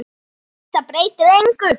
Þetta breytir engu.